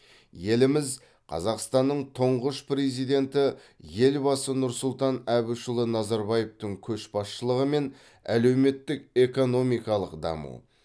еліміз қазақстанның тұңғыш президенті елбасы нұрсұлтан әбішұлы назарбаевтың көшбасшылығымен әлеуметтік экономикалық даму